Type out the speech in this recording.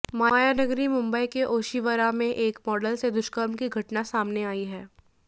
मायानगरी मुंबई के ओशिवरा में एक मॉडल से दुष्कर्म की घटना सामने आई है